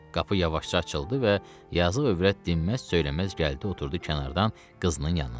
Qapı yavaşca açıldı və yazıq övrət dinməz söyləməz gəldi oturdu kənardan qızının yanında.